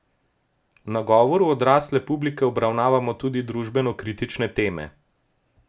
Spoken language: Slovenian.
V nagovoru odrasle publike obravnavamo tudi družbeno kritične teme.